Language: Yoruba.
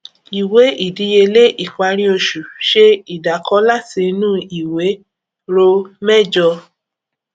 ìwé ìdíyelé ìparí oṣù ṣe ìdàkọ láti inú ìwé ro mẹjọ